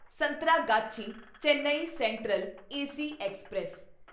Santragachi Chennai central AC express